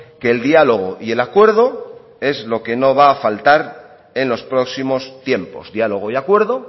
que el diálogo y el acuerdo es lo que no va a faltar en los próximos tiempos diálogo y acuerdo